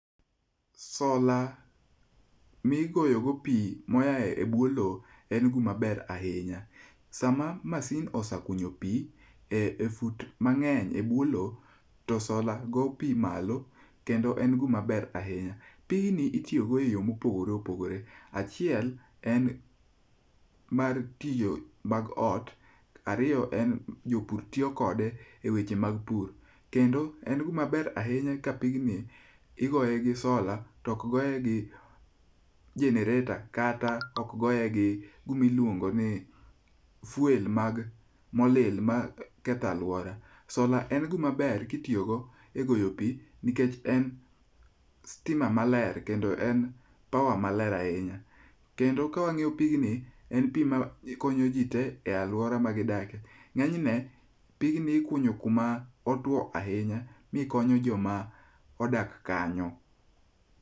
Sola migoyo go pi moa ebwo lowo en gima ber ahinya. Sama masin osekunyo pi e fut mang'eny ebwo lowo, to sola go pi malo kendo en gima ber ahinya. Pigni itiyo go eyo mopogore oogore. Achiel en mar tiyo mag ot. Ariyo en jopur tiyo kode eweche mag pur kendo en gimaber ahinya ka pigni igoye gi sola to ok goye gi genereta kata ok goye gi gimiluongo ni fuel mag molil maketho aluora. Sola en gimaber kitiyogo egoyo pi nikech en sitima maler kendo en power maler ahinya, kendo ka ang'iyo pigni, en pi makonyo ji te e aluora magidakie, ng'eny ne pigni ikunyo kuma otuo ahinya mi konyo joma odak kanyo.